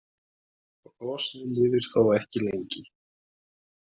Brosið lifir þó ekki lengi.